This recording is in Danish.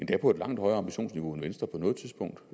det er på et langt højere ambitionsniveau end venstre på noget tidspunkt